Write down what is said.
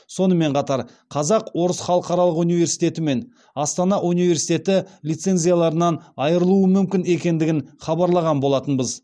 сонымен қатар қазақ орыс халықаралық университеті мен астана университеті лицензияларынан айырылуы мүмкін екендігін хабарлаған болатынбыз